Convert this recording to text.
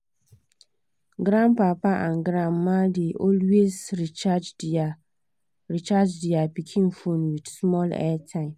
grandpapa and grandma dey always recharge their recharge their pikin phone with small airtime